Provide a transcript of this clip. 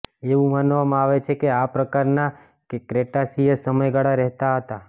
એવું માનવામાં આવે છે કે આ પ્રકારના ક્રેટાસિયસ સમયગાળા રહેતા હતા